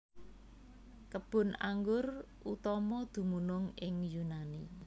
Kebun anggur utama dumunung ing Yunani